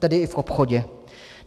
Tedy i v obchodě.